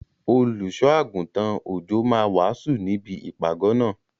Olùṣọ́ -àgùntàn Òjó máa wàásù níbi ìpàgọ́ náà.